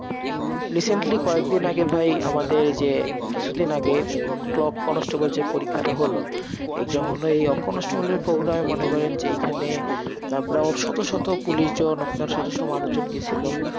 recently কয়েকদিন আগে ভাই, আমাদের যে কিছুদিন আগে clock constable যে পরীক্ষা টা হলো, exam হলো, এই constable এর program এ মনে করেন যে এইখানে তারপরে আবার শত শত police জন, আপনার শত শত মানুষজন গেছিল।